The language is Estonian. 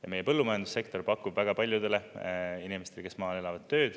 Ja meie põllumajandussektor pakub väga paljudele inimestele, kes maal elavad, tööd.